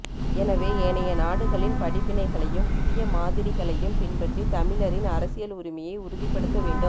எனவே ஏனைய நாடுகளின் படிப்பினைகளையும் புதிய மாதிரிகளையும் பின்பற்றி தமிழரின் அரசியல் உரிமையை உறுதிப்படுத்த வேண்டும்